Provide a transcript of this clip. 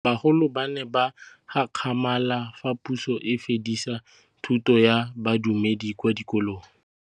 Bagolo ba ne ba gakgamala fa Pusô e fedisa thutô ya Bodumedi kwa dikolong.